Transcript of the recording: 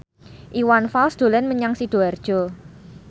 Iwan Fals dolan menyang Sidoarjo